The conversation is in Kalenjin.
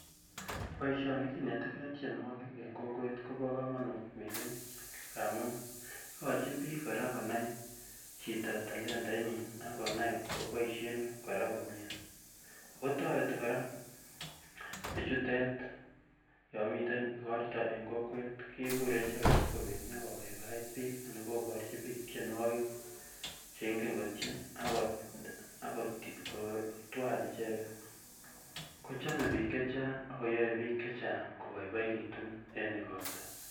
Boisioni kinetekee tienwogik eng kokwet kobo komonut missing amun ikochin biik kora konai chito talentaitnyin akonai koboisien kora komyee akotoreti kora bichutet yon miten igorto eng kokwet kikure icheket sikobit nyokobaibait biik anan koborchii biik tienwogik cheingen kotien ako kotwal icheket kochome biik chechang ak koyaie biik chechang koboiboekitun eng igorto